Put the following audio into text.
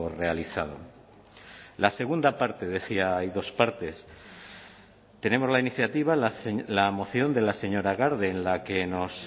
realizado la segunda parte decía hay dos partes tenemos la iniciativa la moción de la señora garde en la que nos